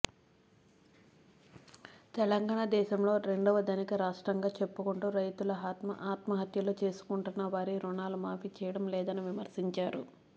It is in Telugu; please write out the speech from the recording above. తెలంగాణా దేశంలో రెండవ ధనిక రాష్ట్రంగా చెప్పుకొంటూ రైతుల ఆత్మహత్యలు చేసుకొంటున్నా వారి రుణాలు మాఫీ చేయడం లేదని విమర్శించారు